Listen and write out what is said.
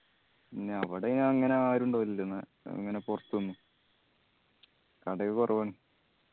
പിന്ന അവടെ അങ്ങനെ ആരു ഉണ്ടാവില്ലല്ലോ ഇങ്ങന പൊർത്തുന്ന്. കടയൊക്കെ കൊറവാണ്